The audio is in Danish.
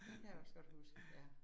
Kan jeg også godt huske. Ja